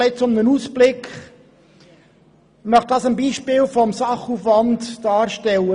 Ich möchte meine Aussage am Beispiel des Sachaufwands erläutern.